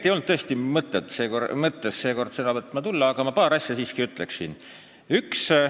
Tegelikult ei olnud mul tõesti mõttes seekord sõna võtma tulla, aga paar asja siiski ütleksin.